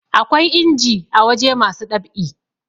akwai inji a waje masu ɗab'i